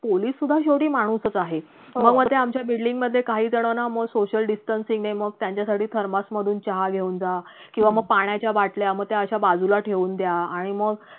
police सुद्धा शेवटी माणूसच आहे मग वर ते आमच्या building मधे काहीजण ना social distancing ने मग त्यांच्यासाठी thermos मधून चहा घेऊन जा किंवा मग पाण्याच्या बाटल्या मग त्या अशा बाजूला ठेवून द्या आणि मग